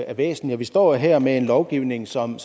er væsentligt vi står her med en lovgivning som